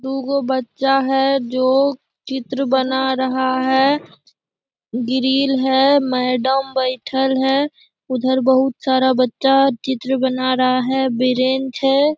दुगो बच्चा है जो चित्र बना रहा है ग्रिल है मैडम बैठल है उधर बहुत सारा बच्चा चित्र बना रहा है बीरेन्च है।